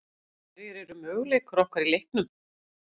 Hverjir eru möguleikar okkar í leiknum?